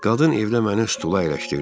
Qadın evdə məni stula əyləşdirdi.